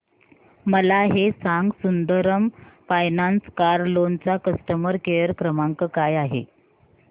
मला हे सांग सुंदरम फायनान्स कार लोन चा कस्टमर केअर क्रमांक काय आहे